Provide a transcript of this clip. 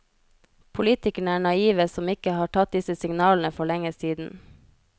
Politikerne er naive som ikke har tatt disse signalene for lenge siden.